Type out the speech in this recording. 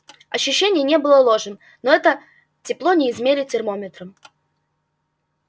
ощущение не было ложным но это тепло не измерить термометром